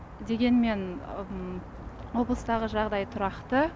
дегенмен облыстағы жағдай тұрақты